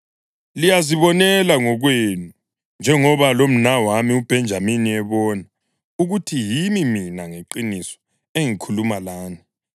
Liyazibonela ngokwenu, njengoba lomnawami uBhenjamini ebona, ukuthi yimi mina ngeqiniso engikhuluma lani.